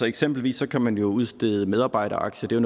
eksempelvis kan man jo udstede medarbejderaktier det